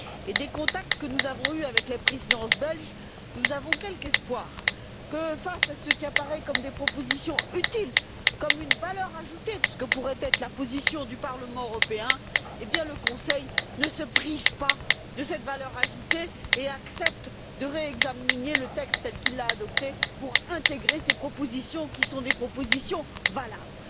Et des contacts que nous avons eus avec la Présidence belge, nous avons quelque espoir que, face à ce qui apparaît comme des propositions utiles, comme une valeur ajoutée que pourrait apporter la position du Parlement européen, le Conseil ne se prive pas de cette valeur ajoutée et accepte de réexaminer le texte tel qu'il l'a adopté pour intégrer ces propositions, qui sont des propositions valables.